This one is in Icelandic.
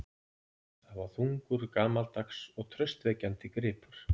Það var þungur, gamaldags og traustvekjandi gripur.